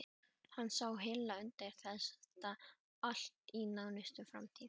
Hann sá hilla undir þetta allt í nánustu framtíð.